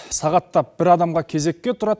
сағаттап бір адамға кезекке тұрады